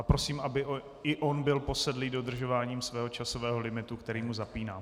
A prosím, aby i on byl posedlý dodržováním svého časového limitu, který mu zapínám.